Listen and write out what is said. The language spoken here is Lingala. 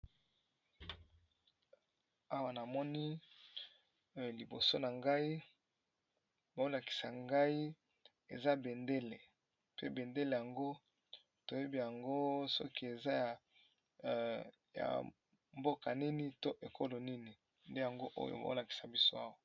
Awa na moni liboso na ngai baolakisa ngai eza bendele, pe bendele yango toyebi yango soki eza ya mboka nini to ekolo nini nde yango oyo baolakisa biso awa.